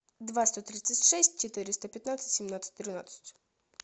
два сто тридцать шесть четыреста пятнадцать семнадцать тринадцать